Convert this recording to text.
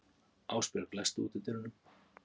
Ásbjörg, læstu útidyrunum.